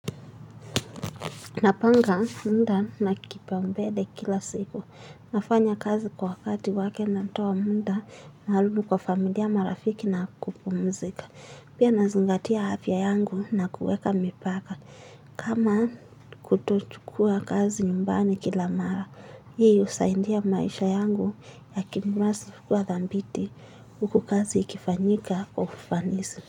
Napanga muda na kipaumbele kila siku. Nafanya kazi kwa wakati wake natoa muda narudi kwa familia marafiki na kupumzika. Pia nazingatia afta yangu na kuweka mipaka. Kama kutochukua kazi nyumbani kila mara. Hii husaidia maisha yangu ya kibinafsi kuwa dhabiti huku kazi ikifanyika kwa ufanisi.